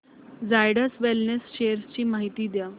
Zydus wellness shares ची माहिती द्या